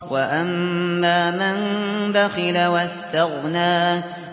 وَأَمَّا مَن بَخِلَ وَاسْتَغْنَىٰ